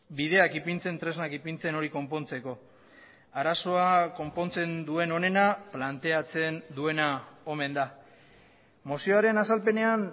bideak ipintzen tresnak ipintzen hori konpontzeko arazoa konpontzen duen honena planteatzen duena omen da mozioaren azalpenean